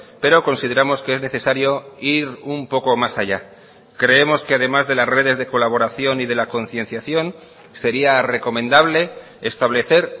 pero consideramos que es necesario ir un poco más allá creemos que además de las redes de colaboración y de la concienciación sería recomendable establecer